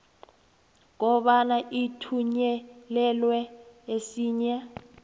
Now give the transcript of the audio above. kobana uthunyelelwe esinye